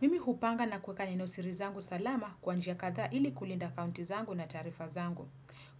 Mimi hupanga na kuweka nenosiri zangu salama kwa njia kadhaa ili kulinda akaunti zangu na taarifa zangu.